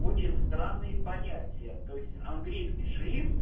очень странные понятия то есть английский шрифт